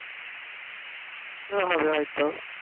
ও হবে হইত